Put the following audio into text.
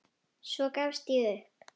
Svo gafst ég upp.